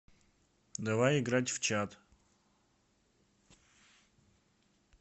давай играть в чат